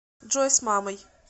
джой с мамой